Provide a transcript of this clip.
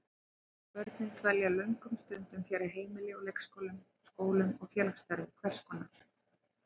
Börnin dvelja löngum stundum fjarri heimilinu, í leikskólum, skólum og félagsstarfi hvers konar.